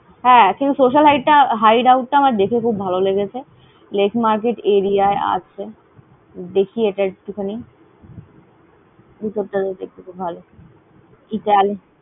কিন্তু social hideout টা social hideout টা দেখে খুব ভালো লেগেছে। Laek Market area য়ায় আছে। দেখি আতা একটু খানি, ভিতর টা তো দেখতে খুব ভালো।